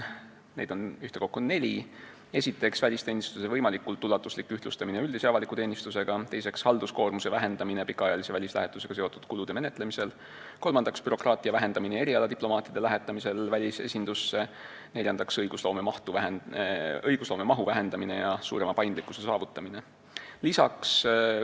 Neid on ühtekokku neli: esiteks, välisteenistuse võimalikult ulatuslik ühtlustamine üldise avaliku teenistusega; teiseks, halduskoormuse vähendamine pikaajalise välislähetusega seotud kulude menetlemisel; kolmandaks, bürokraatia vähendamine erialadiplomaatide lähetamisel välisesindusse; neljandaks, õigusloome mahu vähendamine ja suurema paindlikkuse saavutamine.